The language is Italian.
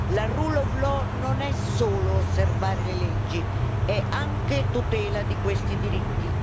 La rule of law non è solo osservare le leggi, è anche tutela di questi diritti.